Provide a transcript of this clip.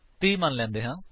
30 ਮਨ ਲੈਂਦੇ ਹਾਂ